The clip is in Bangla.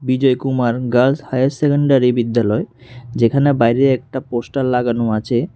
বিজয় কুমার গার্লস হাইয়ার সেকেন্ডারি বিদ্যালয় যেখানে বাইরে একটা পোস্টার লাগানো আছে।